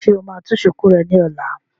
Ṣé o máa tú shùkú rẹ ní ọ̀la?